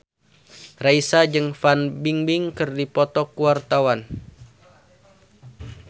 Raisa jeung Fan Bingbing keur dipoto ku wartawan